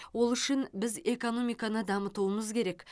ол үшін біз экономиканы дамытуымыз керек